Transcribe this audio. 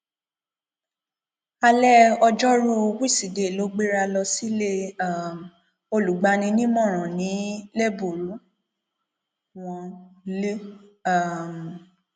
alẹ ọjọrùú wísidee ló gbéra lọ sílé um olùgbani nímọràn ní lẹbùrú wọn l um